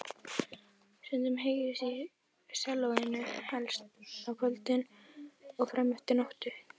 Stundum heyrðist í sellóinu, helst á kvöldin og frameftir nóttu.